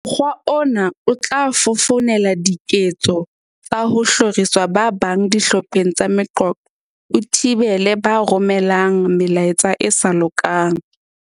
"Mokgwa ona o tla fofonela diketso tsa ho hloriswa ha ba bang dihlopheng tsa meqoqo, o thibele ba romelang me laetsa e sa lokang."